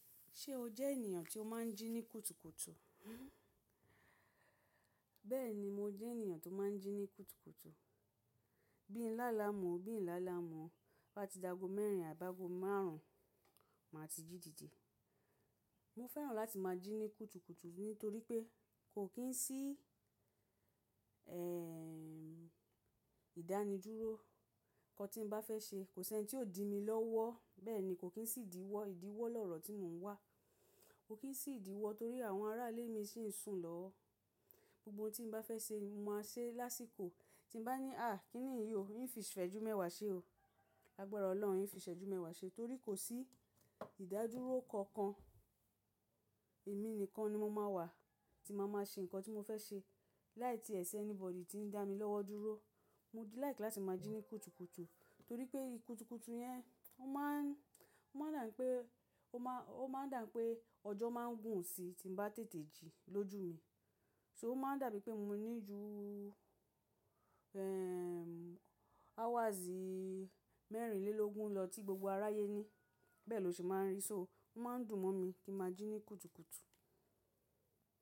Ṣé o jẹ́ ènìyàn tí ó máa ń jí ní kùtùkùtù? Bẹ́ẹ̀ni, mo jẹ́ ènìyàn tó máa ń jí ní kùtùkùtù. Bí i ń lálámuu bí i ń lálámuu, to bá ti dago mẹ́rin àbágo márùn-ún, màá ti jí dìde. Mo fẹ́ràn láti máa jí ní kùtùkùtù nítorí pé kò kín sí, eh, ìdánidúró. Nǹkan tí mo bá fẹ́ ṣe, kò sí ẹni tí ó di mi lọ́wọ́. Bẹ́ẹ̀ni, kò kín sì ìdíwọ́, ìdíwọ́ lọ̀rọ̀ tí mo ń wà. Kò kín sì ìdíwọ́ torí àwọn arálé mi sì ń sùn lọ́wọ́. Gbogbo tí mo bá fẹ́ ṣe, mo máa ṣe lásìkò. Tí mo bá ní, "à, kí niyí o, n fi ìsẹ́jú-mẹ́wàá ṣe o." Lágbára Ọlọ́run, n fi ìfẹ́-ajú-mẹ́wàá ṣe torí kò sí ìdádúró kankan. Èmi nìkan ni mo máa wà tí mo máa ṣe ǹkan tí mo fẹ́ ṣe láì tíẹ̀ ṣi anybody tí ń dá mi lọ́wọ́ dúró. Mo like tí láti máa jí ní kùtùkùtù torí pé ikùtùkùtù yẹn, ó máa ń, ó máa ń dà pé, ó máa, ó máa ń dà pé ọjọ́ máa ń gùn sí tí mo bá tètè jí lójú mi. So ó máa ń dà bíi pé mo ní ju, eh, hours mẹ́rìnlélógún lọ tí gbogbo aráyé ní. Bẹ́ẹ̀ ló ṣe máa ń rí i. So ó máa ń dùn mọ́ mi kí máa jí ní kùtùkùtù.